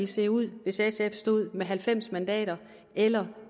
set ud hvis sf havde stået med halvfems mandater eller